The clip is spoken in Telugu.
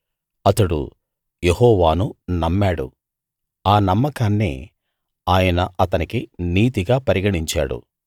అతడు యెహోవాను నమ్మాడు ఆ నమ్మకాన్నే ఆయన అతనికి నీతిగా పరిగణించాడు